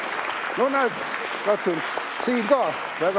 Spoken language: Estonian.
No näed, Siim ka väga tubli poiss.